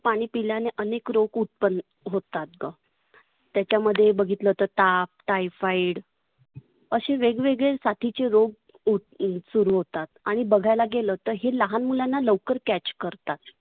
पाणी पिल्याने आनेक रोग उत्पन्न होतात. त्याच्यामध्ये बघितलात तर ताप, Typhoid आशे वेगवेगळे साथीचे रोग उत सुरु होतात. आणि बघायला गेलं तर हे लहान मुलांना लवकर catch करतात.